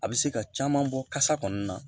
A bɛ se ka caman bɔ kasa kɔni na